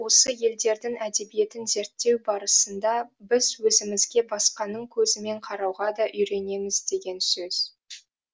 осы елдердің әдебиетін зерттеу барысында біз өзімізге басқаның көзімен қарауға да үйренеміз деген сөз